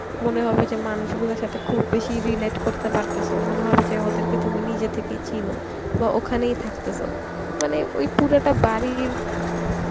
মনে হবে যে মানুষগুলার সাথে খুব বেশি relate করতে পারতাসো মনে হবে যে ওদেরকে তুমি নিজে থেকেই চিনো বা ওখানেই থাকতাসো মানে ওই পুরোটা বাড়ির